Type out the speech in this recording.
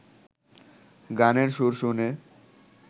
গানের সুর শুনে